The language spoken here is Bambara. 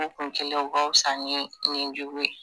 Kunkelen o ka wusa ni ɲijugu ye.